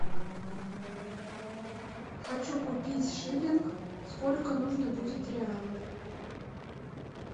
хочу купить шиллинг сколько нужно будет реалов